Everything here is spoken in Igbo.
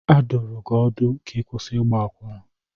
A dụrụ gị ọdụ ka ị kwụsị ịgba akwụna!